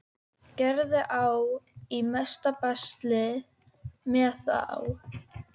Gerður á í mesta basli með þá.